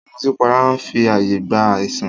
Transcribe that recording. Ìmùtípara n fi ààyè gba àìsàn